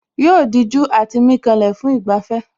Yóò dijú àti mí kanlẹ̀ fún ìgbafẹ́